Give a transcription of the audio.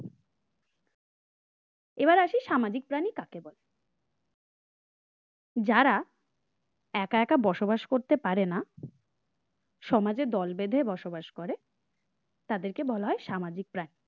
এবার আসি সামাজিক প্রাণী কাকে বলে? যারা একা একা বসবাস করতে পারেনা সমাজের দল বেধে বসবাস করে তাদেরকে বলা হয় সামাজিক প্রাণী।